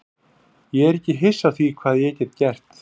Ég er ekki hissa á því hvað ég get gert.